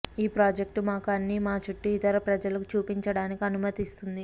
ఈ ప్రాజెక్టు మాకు అన్ని మా చుట్టూ ఇతర ప్రజలకు చూపించడానికి అనుమతిస్తుంది